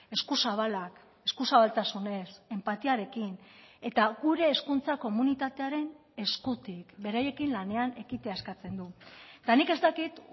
eskuzabalak eskuzabaltasunez enpatiarekin eta gure hezkuntza komunitatearen eskutik beraiekin lanean ekitea eskatzen du eta nik ez dakit